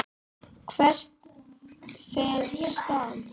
Hvert fer Stam?